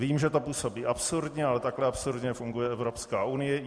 Vím, že to působí absurdně, ale takhle absurdně funguje Evropská unie.